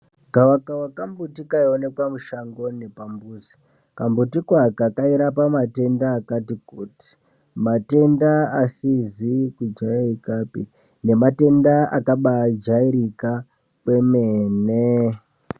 Gavakava kambuti kaionekwa mushango nepambuzi. Kambutiko ako kairapa matenda akati kuti, matenda asizi kujairikapi nematenda akabaajairika, kwemene.